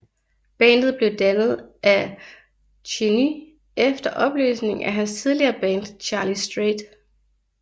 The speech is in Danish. Bandet blev dannet af Černý efter opløsningen af hans tidligere band Charlie Straight